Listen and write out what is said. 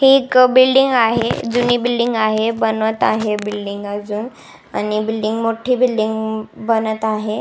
हि एक बिल्डींग आहे जुनी बिल्डींग आहे बनवत आहे बिल्डींग आजुन आणि बिल्डींग मोठी बिल्डींग बनत आहे.